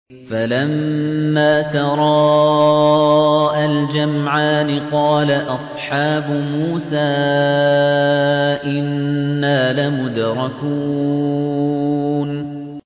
فَلَمَّا تَرَاءَى الْجَمْعَانِ قَالَ أَصْحَابُ مُوسَىٰ إِنَّا لَمُدْرَكُونَ